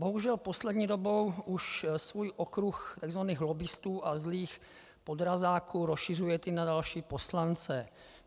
Bohužel poslední dobou už svůj okruh tzv. lobbistů a zlých podrazáků rozšiřujete i na další poslance.